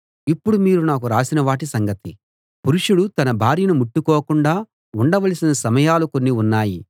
ఇప్పుడు మీరు నాకు రాసిన వాటి సంగతి పురుషుడు తన భార్యను ముట్టుకోకుండా ఉండవలసిన సమయాలు కొన్ని ఉన్నాయి